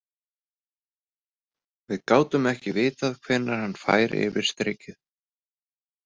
Við gátum ekki vitað hvenær hann færi yfir strikið.